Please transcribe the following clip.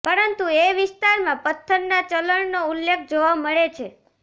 પરંતુ એ વિસ્તારમાં પથ્થરના ચલણનો ઉલ્લેખ જોવા મળે છે